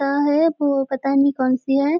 है वो पता नहीं कौनसी है।